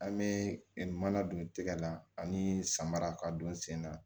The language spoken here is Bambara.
An bɛ mana don tigɛ la ani samara ka don sen na